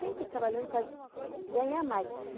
Sempre trabalhando para ganhar mais.